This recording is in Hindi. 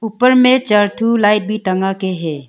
ऊपर में चार ठो लाइट भी टांगा के है।